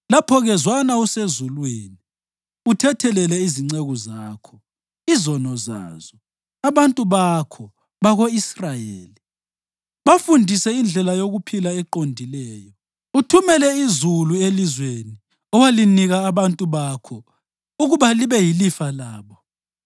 lapho-ke zwana usezulwini uthethelele izinceku zakho izono zazo, abantu bakho bako-Israyeli. Bafundise indlela yokuphila eqondileyo, uthumele izulu elizweni owalinika abantu bakho ukuba libe yilifa labo.